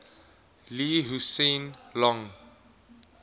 lee hsien loong